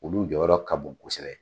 Olu jɔyɔrɔ ka bon kosɛbɛ